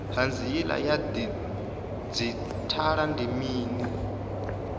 hanziela ya didzhithala ndi mini